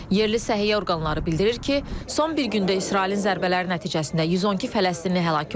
Yerli səhiyyə orqanları bildirir ki, son bir gündə İsrailin zərbələri nəticəsində 112 fələstinli həlak olub.